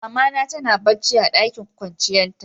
Mama na tana bacci a ɗakin kwanciyan ta.